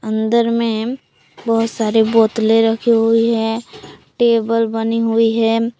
अंदर में बहोत सारी बोतलें रखी हुई है टेबल बनी हुई है।